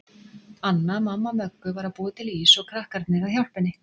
Anna, mamma Möggu, var að búa til ís og krakkarnir að hjálpa henni.